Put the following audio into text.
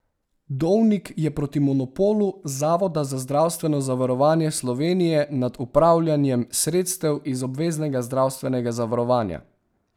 Dovnik je proti monopolu Zavoda za zdravstveno zavarovanje Slovenije nad upravljanjem sredstev iz obveznega zdravstvenega zavarovanja.